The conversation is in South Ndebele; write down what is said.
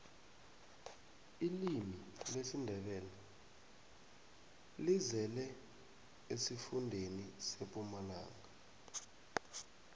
ilimi lesindebele lizele esifundeni sempumalanga